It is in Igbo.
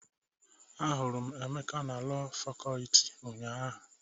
Ahụrụ m Emeka na Lọọ Fakọlti ụnyaahụ.